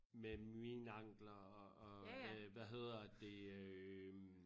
Med mine ankler og og med hvad hedder det øh